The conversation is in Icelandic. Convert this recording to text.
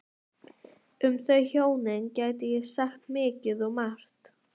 Um þau hjónin gæti ég sagt mikið og margt.